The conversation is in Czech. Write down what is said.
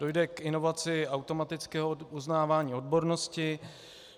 Dojde k inovaci automatického uznávání odbornosti.